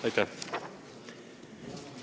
Aitäh!